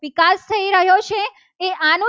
વિકાસ થઈ રહ્યો છે. એ આનો